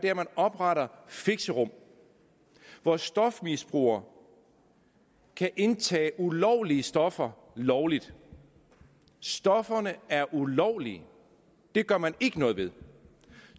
er at oprette fixerum hvor stofmisbrugere kan indtage ulovlige stoffer lovligt stofferne er ulovlige og det gør man ikke noget ved